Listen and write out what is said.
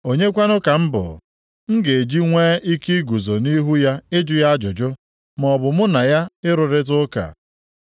“Onye kwanụ ka m bụ, m ga-eji nwee ike iguzo nʼihu ya ịjụ ya ajụjụ, maọbụ mụ na ya ịrụrịta ụka?